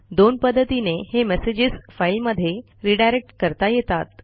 दोन पध्दतीने हे मेसेजेस फाईलमध्ये रिडायरेक्ट करता येतात